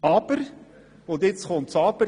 Doch nun folgt das Aber: